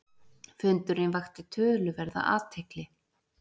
Fundurinn vakti töluverða athygli.